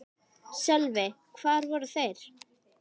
Sölvi: Hvar voru þeir?